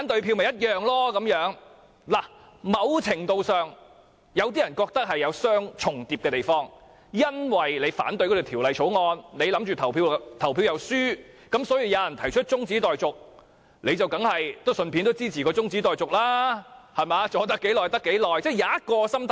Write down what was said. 有些人認為，某程度上兩者有重疊的地方，因為如我反對《條例草案》而又預計表決會輸，當有議員提出中止待續議案，我當然支持，能拖延多久便多久，是可以有這種心態的。